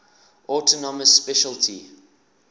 autonomous specialty